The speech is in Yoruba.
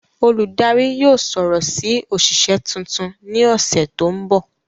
Oludari yóò sọrọ si oṣiṣẹ tuntun ni ọsẹ to nbọ.